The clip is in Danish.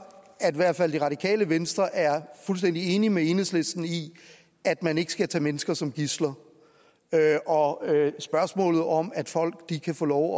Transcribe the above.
at i hvert fald det radikale venstre er fuldstændig enig med enhedslisten i at man ikke skal tage mennesker som gidsler og at spørgsmålet om at folk kan få lov